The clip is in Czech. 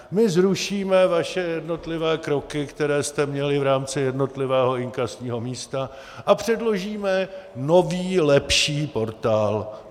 My zrušíme vaše jednotlivé kroky, které jste měli v rámci jednotlivého inkasního místa, a předložíme nový lepší portál.